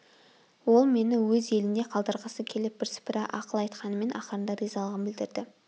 ол мені өз елінде қалдырғысы келіп бірсыпыра ақыл айтқанымен ақырында ризалығын білдірді